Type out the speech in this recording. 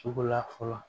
Suguya fɔlɔ